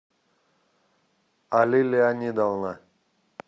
али леонидовна